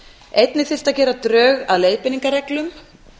einnig þyrfti að gera drög að leiðbeiningarreglum